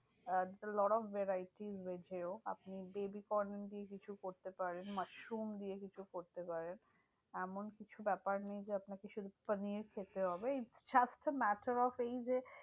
Ah lot of variety veg এও। আপনি baby corn দিয়ে কিছু করতে পারেন, মাশরুম দিয়ে কিছু করতে পারেন। এমন কিছু ব্যাপার নেই যে আপনাকে শুধু পানির খেতে হবে। it just a matter of এই যে